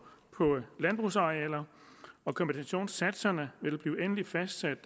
på landbrugsarealer og kompensationssatserne vil blive endeligt fastsat